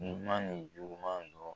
Ɲuman ni juguman yɔrɔ